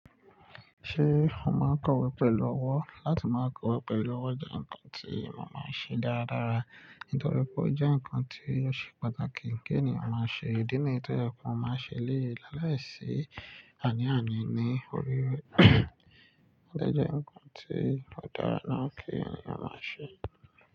Ṣé ó máa ń kọ̀wé pẹ̀lú ọwọ́? Látí má kọ̀wé pẹ̀lú ọwọ́ jẹ́ nnkan tí mo máa ń ṣe dáradára, nítorí pé ó jẹ́ nnkan tí ó ṣe pàtàkì kí ènìyàn má ṣe. Idí nìyii tí ọ̀yẹ́ kan máa ń ṣe léèé láàláì sí àní àní ní orí rẹ̀, ó dẹ́jẹ́ nnkan tí ó dára náà kí ènìyàn má ṣe.